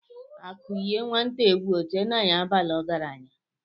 Akụ yie nwata egwu Ọ chee na ya abaala ọgaranya.